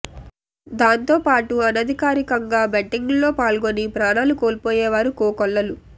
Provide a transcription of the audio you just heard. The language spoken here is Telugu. దాంతో పాటు అనధికారంగా బెట్టింగ్ లో పాల్గొని ప్రాణాలు కోల్పోయేవారు కోకొల్లలు